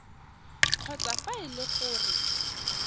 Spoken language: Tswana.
kgotsa fa e le gore